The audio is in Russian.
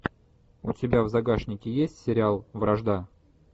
у тебя в загашнике есть сериал вражда